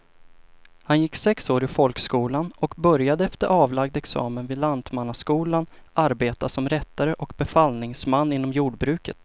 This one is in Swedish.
Han gick sex år i folkskolan och började efter avlagd examen vid lantmannaskolan arbeta som rättare och befallningsman inom jordbruket.